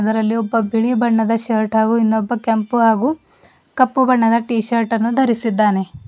ಅದರಲ್ಲಿ ಒಬ್ಬ ಬಿಳಿ ಬಣ್ಣದ ಶರ್ಟ್ ಹಾಗು ಇನ್ನೊಬ್ಬ ಕೆಂಪು ಹಾಗು ಕಪ್ಪು ಬಣ್ಣದ ಟೀಶರ್ಟನ್ನು ಧರಿಸಿದ್ದಾನೆ.